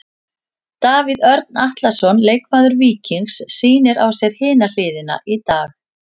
Davíð Örn Atlason, leikmaður Víkings sýnir á sér hina hliðina í dag.